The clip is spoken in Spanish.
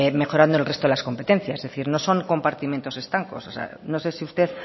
mejorando el resto de las competencias es decir no son compartimentos estancos o sea no sé si usted